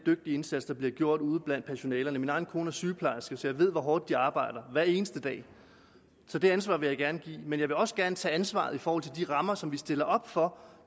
indsats der bliver gjort ude blandt personalet min egen kone er sygeplejerske så jeg ved hvor hårdt de arbejder hver eneste dag så det ansvar vil jeg gerne give men jeg vil også gerne tage ansvaret i forhold til de rammer som vi stiller op for